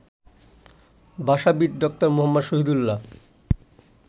ভাষাবিদ doctor Muhammad Shahidullah